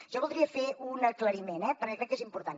jo voldria fer un aclariment eh perquè crec que és important